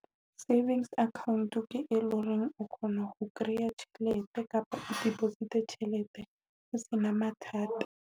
Savings account ke e leng hore o kgona ho kreya tjhelete kapa deposit-e tjhelete ho sena mathata.